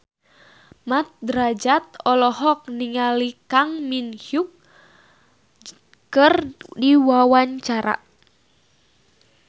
Mat Drajat olohok ningali Kang Min Hyuk keur diwawancara